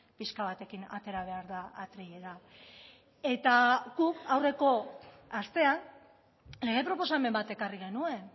pixka batekin atera behar da atrilera eta guk aurreko astean lege proposamen bat ekarri genuen